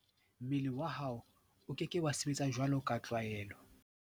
Ha o haellwa ke metsi mmeleng, mmele wa hao o ke ke wa sebetsa jwaloka tlwaelo.